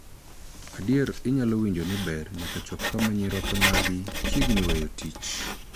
Adier, inyalo winjo ni iber nyaka chop kama nyiroke magi chiegni weyo tich.